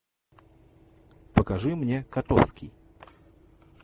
покажи мне котовский